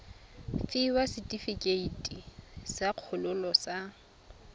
fiwa setefikeiti sa kgololo sa